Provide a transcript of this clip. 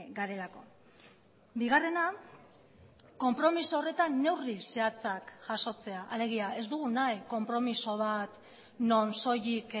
garelako bigarrena konpromiso horretan neurri zehatzak jasotzea alegia ez dugu nahi konpromiso bat non soilik